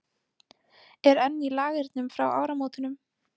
Er enn í Lagernum frá áramótunum?